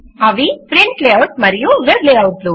అవి print layout మరియు web layout లు